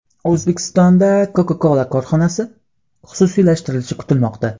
O‘zbekistonda Coca-Cola korxonasi xususiylashtirilishi kutilmoqda.